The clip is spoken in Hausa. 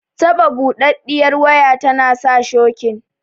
Taɓa buɗaɗɗiyar waya tana sa shokin